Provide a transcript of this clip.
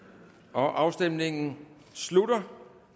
afstemningen slutter